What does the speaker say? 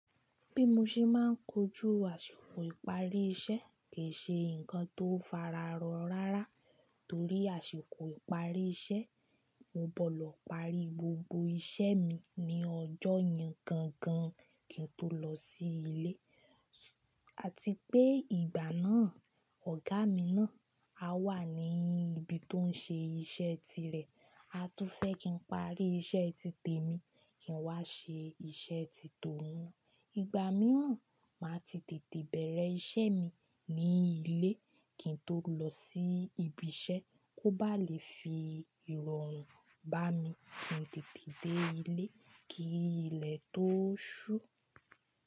Bí mo ṣe máa ń kojú àsìkò ìparí iṣẹ́ kì í ṣe ǹkan tó fararọ rárá torí àsìkò ìparí iṣẹ́, mo bọ̀ lọ parí gbogbo iṣẹ́ mi ní ọjọ́ yen gangan kí n tó lọ sí ilé. Àti pé ìgbà náà ọ̀gá mi náà a wà ní ibi tó ń ṣe iṣẹ́ tirẹ̀, a tún fẹ́ kí n parí iṣẹ́ ti tèmi kí n wá ṣe iṣẹ́ ti tòun. Ìgbà mìíràn, màá ti tètè bẹ̀rẹ̀ iṣẹ́ mi ní ilé kí n tó lọ sí ibi iṣẹ́ kó ba lè fi ìrọ̀rùn bá mi kí n tètè dé ilé kí ilẹ̀ tó ṣú.